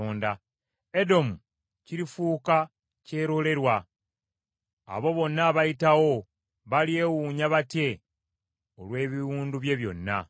“Edomu kirifuuka kyerolerwa, abo bonna abayitawo balyewuunya batye olw’ebiwundu bye byonna.